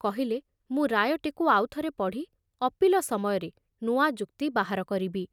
କହିଲେ ମୁଁ ରାୟଟିକୁ ଆଉଥରେ ପଢ଼ି ଅପୀଲ ସମୟରେ ନୂଆ ଯୁକ୍ତି ବାହାର କରିବି।